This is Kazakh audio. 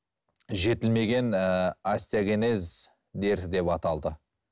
жетілмеген ііі остеогенез дерті деп аталды